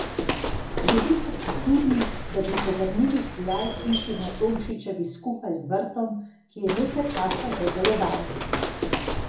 Želi pa si tudi, da bi povrnili sijaj hiši na Tomšičevi skupaj z vrtom, ki je nekaj časa že deloval.